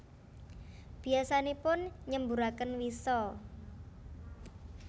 Biyasanipun nyemburaken wisa